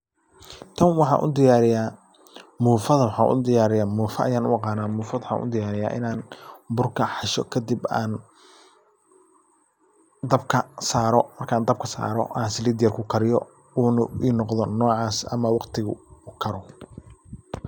Tan waxan udiyariya, mufada waxa udiyriya, mufaa ayan ugaqana, mufada waxan udiyariya, burka xasho kadib aan dabka saro, markan dabka saro an salit yar kukariyo, una inogdo nocas ama wagtigi ukaro.